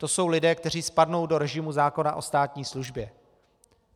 To jsou lidé, kteří spadnou do režimu zákona o státní službě.